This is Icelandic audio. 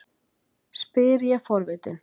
spyr ég forvitin.